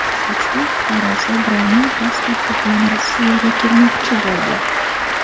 O‘zbekiston fuqarosi birovning pasporti bilan Rossiyaga kirmoqchi bo‘ldi.